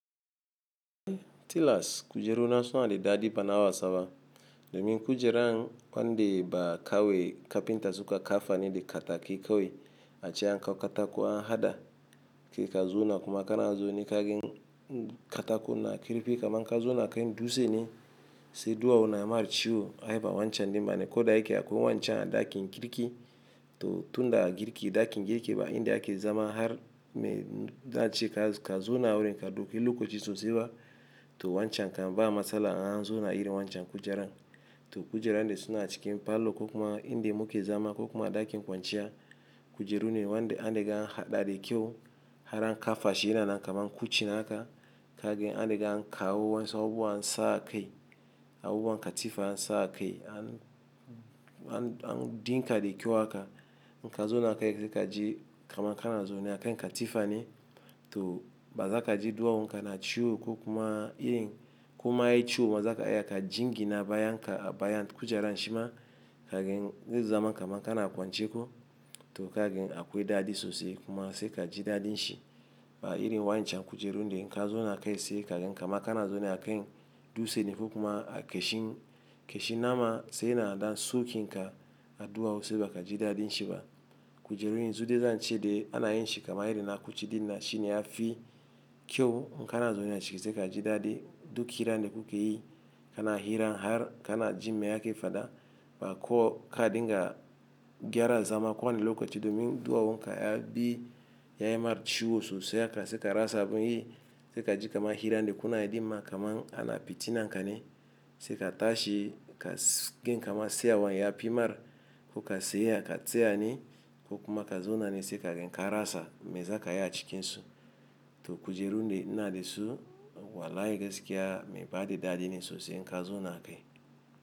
Tilas kujeru na suna da daɗi bana wasa ba domin kujeran wanda ba kawe kafinta suka kafa ne da katakai kawai ace an kawo katako an haɗa, kai ka zo na kuma kana zaune ka gani katako na kirki kaman ka zauna akan dutse ne, sai duwawu na yi ma ciwo ai ba wancan ne bane ko da yake akwai wancan a ɗakin girki to tun daga girki ɗakin girki ba inda ake zama har mai na ce ka zauna awurin ka dauki lokaci sosai ba to wancan kam ba matsala in an zauna irin wancan kujeran. To kujeran ne suna cikin falo ko kuma inda muke zama ko kuma a ɗakin kwanciya. Kujeru ne wanda an riga a haɗa da kyau har an kafa shi yana nan kaman kuchin haka ka gan an riga an kawo wasu abubuwa ansa a kai, abubuwan katifa an sa a kai an dinka da kyau haka in ka zauna akai sai ka ji kaman kana zaune a kan katifa ne to ba za ka ji duwawun ka na ciwo ko kuma irin koma yayi ciwo ma za ka iya ka jingina bayan ka a bayan kujeran shima ka gani zai zama kaman kana kwance ko to ka gani akwai daɗi sosai kuma sai ka ji daɗin shi ba irin wancan kujeru ne in ka zauna akai sai ka gani kaman kana zaune a kai dutse ne ko kuma a ƙashin ƙashin nama sai yana da sokin ka a duwawu sai ba ka ji daɗin shi ba. Kujerun yanzu dai zan ce dai ana yin shi kamar irin na kuci dinnan shi ne ya fi kyau in ka na zaune aciki sai ka ji daɗi duk hiran da kuke yi kana hira har ka na ji mai ake faɗa ba ko ka dinga gyara zama ko wani lokaci domin duwawun ka ya bi ya yi mar ciwo sosai haka sai ka rasa abin yi sai ka ji kaman hiran da kuna yi dinma kaman ana fitinan ka ne sai ka tashi ka gani kaman tsayawan ya fi mar ko ka tsaya ka tsaya ne ko kuma ka zauna ne sai ka gani ka rasa me za ka yi a cikinsu. To kujeru ne ina da su walahi gaskiya mai ba da daɗi ne sosai in ka zauna akai.